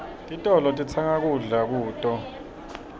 titolo sitsenga kuto kudla